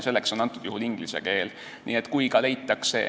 Selleks on antud juhul inglise keel.